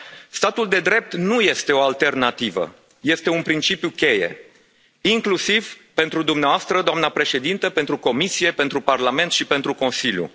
Statul de drept nu este o alternativă, este un principiu cheie inclusiv pentru dumneavoastră, doamna Președintă, pentru Comisie, pentru Parlament și pentru Consiliu.